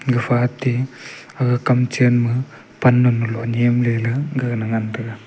gapha te gaga kam chain ma pan niam ley ley gaga ngan taga.